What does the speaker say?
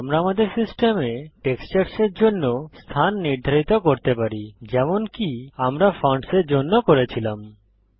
এখন আমরা আমাদের সিস্টেমে টেক্সচার্স এর জন্য স্থান নির্ধারিত করতে পারি যেমনকি আমরা ফন্টসের জন্য করেছিলাম